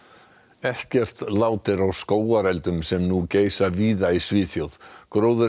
ekkert lát er á skógareldum sem nú geisa víða í Svíþjóð